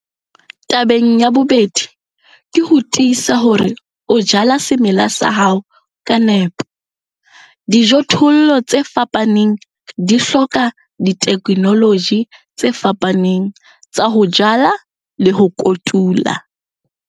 Tabeng ya bobedi, ke ho tiisa hore o jala semela sa hao ka nepo. Dijothollo tse fapaneng di hloka ditheknoloji tse fapaneng tsa ho jala le ho kotula.